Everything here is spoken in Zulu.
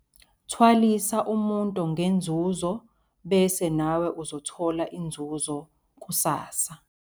Thwalisa umuntu ngenzuzo bese nawe uzothola inzuzo kusasa